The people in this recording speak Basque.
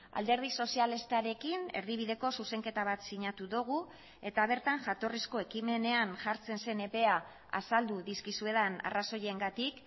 alderdi sozialistarekin erdibideko zuzenketa bat sinatu dugu eta bertan jatorrizko ekimenean jartzen zen epea azaldu dizkizuedan arrazoiengatik